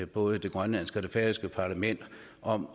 både det grønlandske parlament og det færøske parlament om